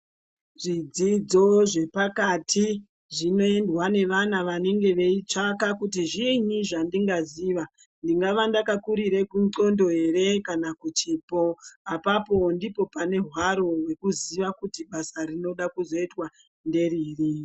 Zvidzidzo zvepakati zvinoendwa nevana vanenge veitsvaka kuti zvinyi zvandinga ziva. Ndingava ndakakurire kundxondo ere kana kuchipo. Apapo ndipo pane hwaro hwekuziya kuti basa rinoda kuzoitwa nderiri.